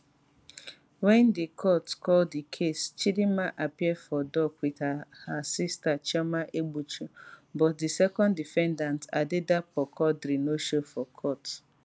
wen di court call di case chidinma appear for dock wit her her sister chioma egbuchu but di second defendant adedapo quadri no show for court